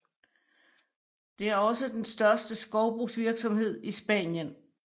Det er også den største skovbrugsvirksomhed i Spanien